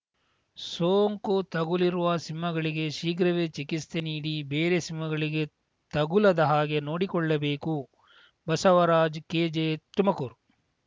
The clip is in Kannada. ಸೋಂಕು ತಗುಲಿರುವ ಸಿಂಹಗಳಿಗೆ ಶಿಘ್ರವೇ ಚಿಕಿತ್ಸೆ ನೀಡಿ ಬೇರೆ ಸಿಂಹಗಳಿಗೆ ತಗುಲದ ಹಾಗೆ ನೋಡಿಕೊಳ್ಳಬೇಕು ಬಸವರಾಜ್‌ ಕೆ ಜೆ ತುಮಕೂರು